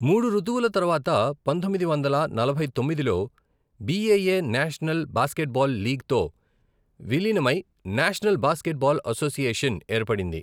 మూడు ఋతువులు తరువాత, పంతొమ్మిది వందల నలభై తొమ్మిదిలో, బిఏఏ నేషనల్ బాస్కెట్బాల్ లీగ్తో విలీనమై నేషనల్ బాస్కెట్బాల్ అసోసియేషన్ ఏర్పడింది.